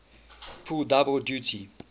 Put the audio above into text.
pull double duty